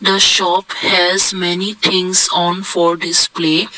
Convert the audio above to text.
the shop has many things on for display.